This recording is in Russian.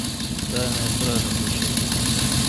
тайная стража включи мне